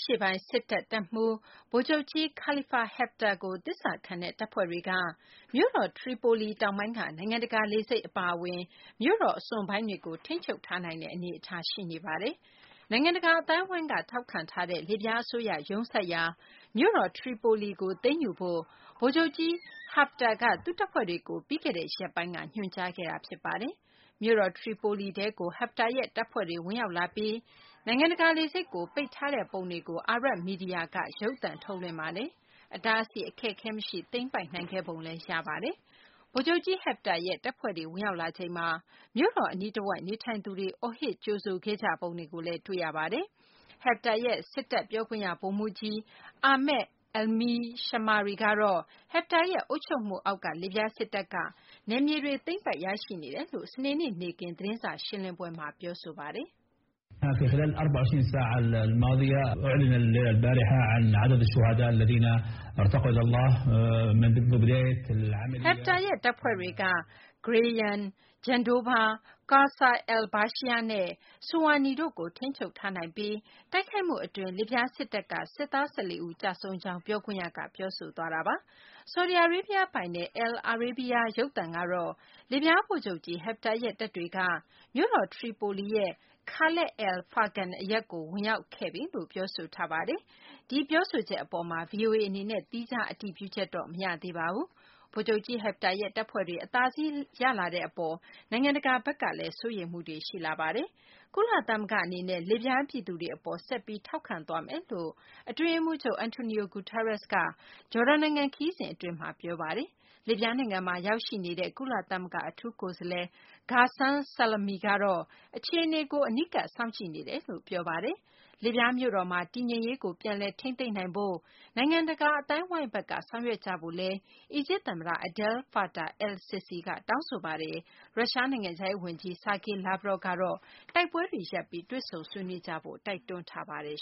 ရှေ့ပိုင်း စစ်တပ် တပ်မှူး ဗိုလ်ချုပ်ကြီး Khalifa Haftar ကို သစ္စာခံတဲ့ တပ်ဖွဲ့တွေက မြို့တော် Tripoli တောင်ပိုင်းက နိုင်ငံတကာ လေဆိပ် အပါအဝင် မြို့တော် အစွန်ပိုင်းတွေကို ထိန်းချုပ်ထားနိုင်တဲ့ အနေအထား ရှိနေပါတယ်။ နိုင်ငံတကာ အသိုင်းအဝိုင်းက ထောက်ခံထားတဲ့ လစ်ဗျား အစိုးရ ရုံးစိုက်ရာ မြို့တော် Tripoli ကို သိမ်းယူဖို့ ဗိုလ်ချုပ်ကြီး Hifter က သူ့တပ်ဖွဲ့တွေကို ပြီးခဲ့တဲ့ ရက်ပိုင်းက ညွှန်ကြားခဲ့တာပါ။ မြို့တော် ထရီပိုလီထဲကို Haftar ရဲ့ တပ်ဖွဲ့တွေ ဝင်ရောက်လာပြီး နိုင်ငံတကာ လေဆိပ်ကို ပိတ်ထားလိုက်တဲ့ ပုံတွေကို အာရဘ် မီဒီယာ က ရုပ်သံထုတ်လွှင့်ပါတယ်။ အတားအဆီး အခက်အခဲ မရှိ သိမ်းပိုက်နိုင်ခဲ့ပုံ ရပါတယ်။ ဗိုလ်ချုပ်ကြီး Haftar ရဲ့ တပ်ဖဲ့ွတွေ ဝင်ရောက်လာချိန်မှာလည်း မြို့တော် အနီးတဝိုက်မှာ နေထိုင်သူတွေက အော်ဟစ် ကြိုဆိုခဲ့ကြပုံတွေကိုလည်း Arab မီဒီယာမှာ တွေ့မြင်ရပါတယ်။ ဗိုလ်ချုပ်ကြီး Haftar ရဲ့ စစ်တပ် ပြောခွင့်ရ ဗိုလ်မှူးကြီး Ahmad Almismari ကတော့ Haftar ရဲ့ အုပ်ချုပ်မှုအောက်က လစ်ဗျား စစ်တပ်က နယ်မြေတွေ သိမ်းပိုက်ရရှိနေတယ်လို့ စနေနေ့ နေ့ခင်း သတင်းစာရှင်းလင်းပွဲမှာ ပြောဆိုသွားပါတယ်။ Haftar ရဲ့ တပ်ဖွဲ့တွေက Gharyan၊ Jendouba၊ Qasr al-Beshir နဲ့ Suwani တို့ကို ထိန်းချုပ်ထားနိုင်ပြီး တိုက်ခိုက်မှု အတွက် လစ်ဗျားစစ်တပ်က စစ်သား ၁၄ ဦး ကျဆုံးကြောင်း ပြောခွင့်ရက ပြောဆိုသွားတာပါ။ ဆော်ဒီအာရေးဗျ ပိုင်တဲ့ al-Arabiya ရုပ်သံကတော့ လစ်ဗျား ဗိုလ်ချုပ်ကြီး Haftar ရဲ့တပ်တွေက မြို့တော် ထရီပိုလီရဲ့ Khalat al-Fargan အရပ်ကို ဝင်ရောက်ခဲ့ပြီလို့ ပြောဆိုထားပါတယ်။ ဒီပြောဆိုချက် အပေါ်မှာ VOA အနေနဲ့ သီးခြား အတည်ပြုချက်တော့ မရရှိသေးပါဘူး။ ဗိုလ်ချုပ် Haftar ရဲ့ တပ်ဖွ့ဲတွေ အသာစီး ရလာတဲ့ အပေါ် နိုင်ငံတကာဘက်ကလည်း စိုးရိမ်မှုတွေ ရှိလာနေပါတယ်။ ကုလသမဂ္ဂ အနေနဲ့ လစ်ဗျား ပြည်သူတွေ အပေါ် ဆက်ပြီး ထောက်ခံသွားမယ်လို့ အတွင်းရေးမှူးချုပ် Antonio Guterres ကတော့ ဂျော်ဒန်နိုင်ငံ ခရီးစဉ် အတွင်း ပြောဆိုသွားပါတယ်။ လစ်ဗျားနိုင်ငံမှာ ရောက်ရှိနေတဲ့ ကုလသမဂ္ဂ အထူးကိုယ်စားလှယ် Ghassan Salame ကတော့ အခြေအနေကို အနီးကပ် စောင့်ကြည့်နေကြောင်း ပြောပါတယ်။ လစ်ဗျား မြို့တော်မှာ တည်ငြိမ်ရေးကို ပြန်လည် ထိန်းသိမ်းဖို့ နိုင်ငံတကာ အသိုင်းအဝိုင်းဘက်က ဆောင်ရွက်ကြဖို့ အီဂျစ် သမ္မတ Abdel Fattah al-Sissi က တောင်းဆိုထားပါတယ်။ ရုရှားနိုင်ငံခြားရေး ဝန်ကြီး Sergey Lavrov ကတော့ တိုက်ပွဲတွေ ရပ်ပြီး တွေ့ဆုံဆွေးနွေးကြဖို့ တိုက်တွန်းထားပါတယ်